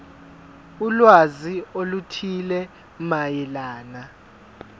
ulwazi oluthile mayelana